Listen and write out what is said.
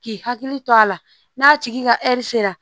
K'i hakili to a la n'a tigi ka sera